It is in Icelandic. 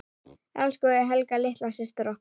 Elsku Helga litla systir okkar.